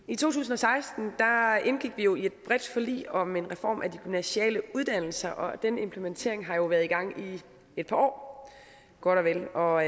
i to tusind og seksten indgik vi jo i et bredt forlig om en reform af de gymnasiale uddannelser og den implementering har jo været i gang i et par år godt og